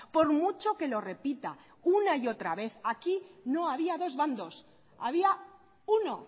por mucho que lo repita una y otra vez aquí no había dos bandos había uno